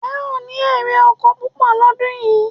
E o ní èrè oko púpọ̀ lọ́dún yìí